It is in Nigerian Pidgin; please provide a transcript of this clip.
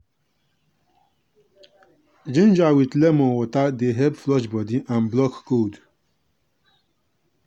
ginger with lemon water dey help flush body and block cold.